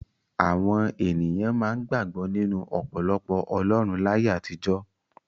Àwọn ènìyàn máa ń gbàgbọ́ nínú ọ̀pọ̀lọpọ̀ ọlọ́run láyé àtijọ́.